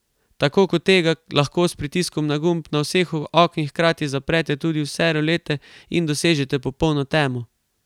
Tako kot tega, lahko s pritiskom na gumb na vseh oknih hkrati zaprete tudi vse rolete in dosežete popolno temo.